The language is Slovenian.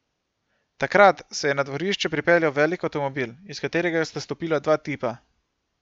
Takrat se je na dvorišče pripeljal velik avtomobil, iz katerega sta stopila dva tipa.